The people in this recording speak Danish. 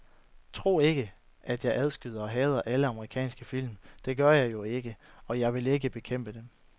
Tro ikke, at jeg afskyer og hader alle amerikanske film, det gør jeg jo ikke, og jeg vil ikke bekæmpe dem